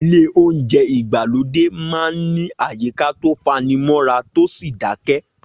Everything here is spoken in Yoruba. Ilé oúnjẹ ìgbàlódé máa ń ní àyíká tó fanimọ́ra tó sì dákẹ́